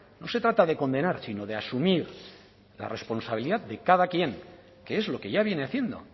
no se trata de condenar sino de asumir la responsabilidad de cada quien que es lo que ya viene haciendo